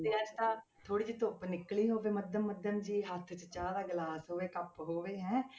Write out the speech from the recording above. ਤੇ ਏਦਾਂ ਥੋੜ੍ਹੀ ਜਿਹੀ ਧੁੱਪ ਨਿਕਲੀ ਹੋਵੇ ਮੱਧਮ ਮੱਧਮ ਜਿਹੀ, ਹੱਥ 'ਚ ਚਾਹ ਦਾ ਗਲਾਸ ਹੋਵੇ, ਕੱਪ ਹੋਵੇ ਹੈਂ।